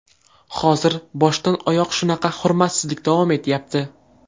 Hozir boshdan oyoq shunaqa hurmatsizlik davom etyapti.